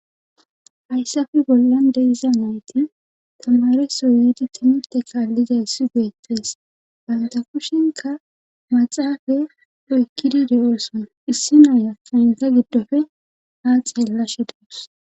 Ayssafe bollan deiza nayti tamareso yiidi timute kaallizay si geettees baynta kushinka maxaafe oykkidi de7ooson issi naaya paynta giddofe haaxhellashe deus